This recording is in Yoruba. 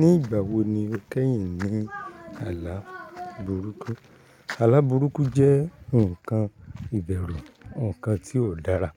Ní ìgbà wo ni o kẹ́yìn ní àlà burúkú? Àlà burúkú jẹ́ ǹkan ìbẹ̀rù, ǹkan tí ò dára